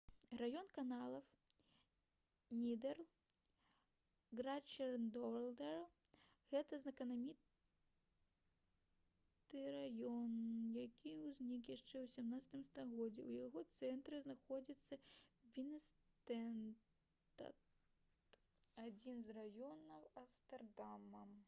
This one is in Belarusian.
раён каналаў нідэрл.: grachtengordel — гэта знакаміты раён які ўзнік яшчэ ў 17 стагоддзі. у яго цэнтры знаходзіцца бінэнстад адзін з раёнаў амстэрдама